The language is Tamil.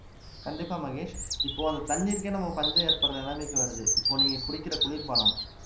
கண்டிப்பா மகேஷ் இப்போ அந்த தண்ணீருக்கே நம்ம பஞ்சம் ஏற்படுற நிலைமைக்கு வருது இப்போ நீங்க குடிக்கிற குளிர்பானம்